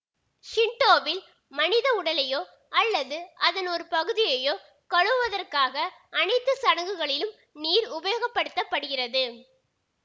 ஷிண்டோவில் மனித உடலையோ அல்லது அதன் ஒரு பகுதியையோ கழுவுவதற்காக அனைத்து சடங்குகளிலும் நீர் உபயோகப்படுத்தப்படுகிறது